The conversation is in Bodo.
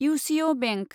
इउसिओ बेंक